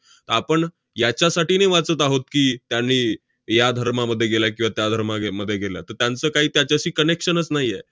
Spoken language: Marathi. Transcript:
आपण याच्यासाठी नाही वाचत आहोत की, त्यांनी या धर्मामध्ये गेल्या किंवा त्या धर्माय~ मध्ये गेल्या. तर त्यांचं काही त्याच्याशी connection च नाही आहे.